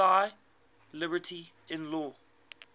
thy liberty in law